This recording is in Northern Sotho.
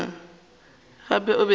gape e be e le